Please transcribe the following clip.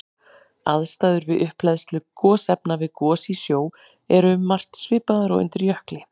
Aðstæður við upphleðslu gosefna við gos í sjó eru um margt svipaðar og undir jökli.